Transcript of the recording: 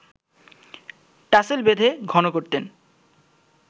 tassel বেঁধে ঘন করতেন